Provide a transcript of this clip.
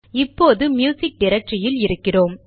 இப்போது ம்யூசிக் டிரக்டரியில் இருக்கிறோம்